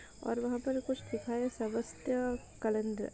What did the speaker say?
और वहाँ पर कुछ लिखा है --